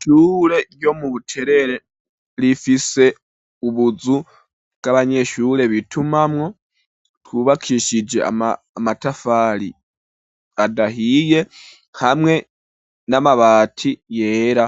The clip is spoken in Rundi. Ishure, ryo mu Buterere, rifise ubuzu, bw'abanyeshure, bitumamwo, twubakishije amatafari, adahiye, hamwe n'amabati yera;